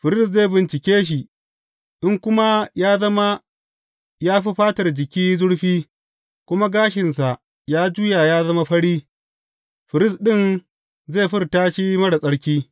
Firist zai bincike shi, in kuma ya zama ya fi fatar jiki zurfi kuma gashinsa ya juya ya zama fari, firist ɗin zai furta shi marar tsarki.